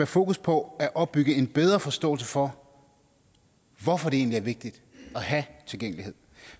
fokus på at opbygge en bedre forståelse for hvorfor det egentlig er vigtigt at have tilgængelighed